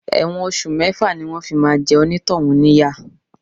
Ẹ̀wọ̀n oṣù mẹ́fà ni wọn fi máa jẹ onitohun níyà.